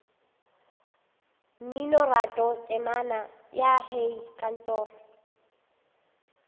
mminoratho temana ya hei kantoro